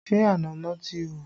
Ṣé ànámọ́ ti hù?